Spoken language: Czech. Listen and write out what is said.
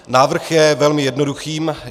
Návrh je velmi jednoduchý.